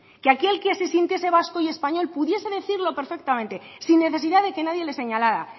que aquí el que se sintiese vasco y español pudiese decirlo perfectamente sin necesidad de que nadie le señalara